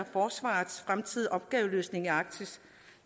forsvarets fremtidige opgaveløsning i arktis